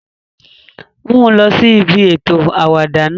Mu u lọ si ibi eto awada náa!